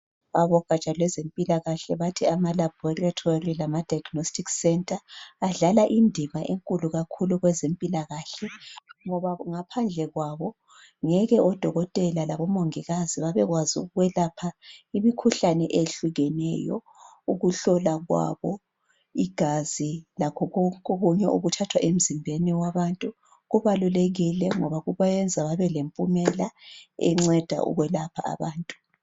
Abogatsha lwezempilakkahle bathi ama laboratory lama diagnostic centre adlala indima enkulu kakhulu kwezempilakahle ngoba ngaphandle kwabo ngeke odokotela labomongikazi babekwazi ukwelapha imikhuhlane eyehlukeneyo ukuhlola kwabo igazi lakho konke okunye okuthathwa emzimbeni wabantu kubalulekile ngoba kubayenza kube lempumela enceda ukwelapha abantu